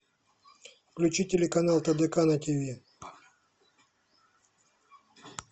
включи телеканал тдк на тв